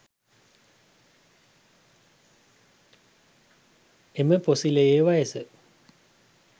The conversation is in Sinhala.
එම පොසිලයේ වයස